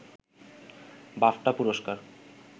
BAFTA পুরস্কার